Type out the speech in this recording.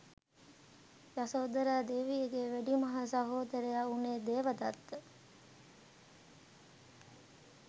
යසෝදරා දේවියගේ වැඩිමහල් සහෝදරයා වුනේ දේවදත්ත.